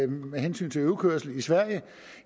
med hensyn til øvekørsel i sverige og